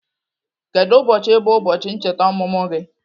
Kedu ụbọchị bụ ụbọchị ncheta ọmụmụ gị?